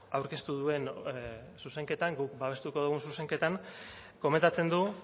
aurkeztu duen zuzenketan guk babestuko dugun zuzenketan komentatzen du